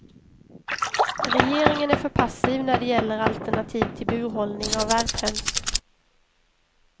Regeringen är för passiv när det gäller alternativ till burhållning av värphöns.